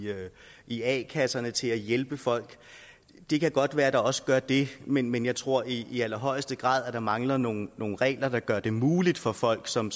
i a kasserne til at hjælpe folk det kan godt være at der også gør det men men jeg tror i i allerhøjeste grad at der mangler nogle regler der gør det muligt for folk som